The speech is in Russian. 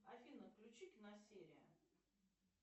афина включи киносерия